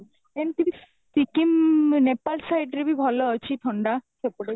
ଏମିତି ବି ସିକିମ ନେପାଲ side ରେ ବି ଭଲ ଅଛି ଥଣ୍ଡା ସେପଟେ